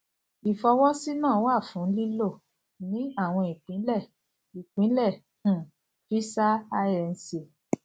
ìfọwọsí náà wà fún lílò ní àwọn ìpínlẹ ìpínlẹ um visa inc